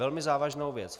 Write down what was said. Velmi závažnou věc.